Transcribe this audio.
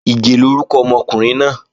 Ìgè lórúkọ ọmọkùnrin náà